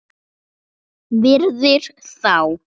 Virðir þá.